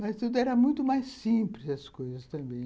Mas tudo era muito mais simples das coisas também.